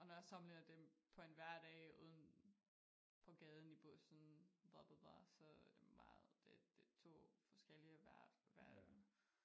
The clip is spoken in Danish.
Og når jeg sammenligner det på en hverdag uden på gaden i bussen bla bla bla så er det meget det det to forskellige hver verden